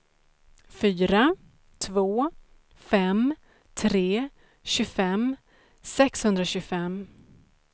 fyra två fem tre tjugofem sexhundratjugofem